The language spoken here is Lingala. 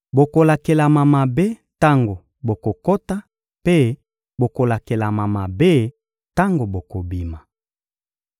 Bokolakelama mabe tango bokokota mpe bokolakelama mabe tango bokobima.